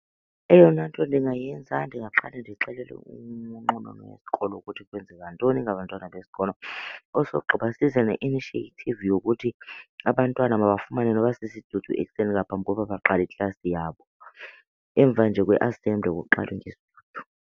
Eyona nto ndingayenza ndingaqale ndixelele unqununu wesikolo ukuthi kwenzeka ntoni ngabantwana besikolo. Osogqiba size ne-initiative yokuthi abantwana mabafumane noba sisidudu ekuseni ngaphambi kokuba baqale iklasi yabo. Emva nje kwe-assembly kuqalwe ngesidudu.